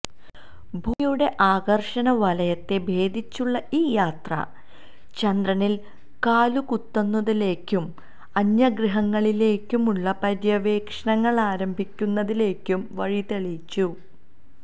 ഭൂമിയുടെ ആകര്ഷണ വലയത്തെ ഭേദിച്ചുള്ള ഈ യാത്ര ചന്ദ്രനില് കാലുകുത്തുന്നതിലേക്കും അന്യഗ്രഹങ്ങളിലേക്കുള്ള പര്യവേഷണങ്ങളാരംഭിക്കുന്നതിലേക്കും വഴിതെളിച്ചു